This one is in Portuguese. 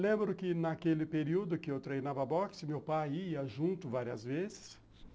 Lembro que naquele período que eu treinava boxe, meu pai ia junto várias vezes.